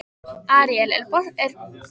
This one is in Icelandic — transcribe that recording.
Aríel, er bolti á mánudaginn?